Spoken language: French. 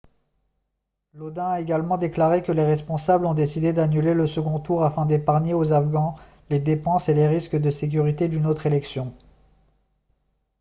lodin a également déclaré que les responsables ont décidé d'annuler le second tour afin d'épargner aux afghans les dépenses et les risques de sécurité d'une autre élection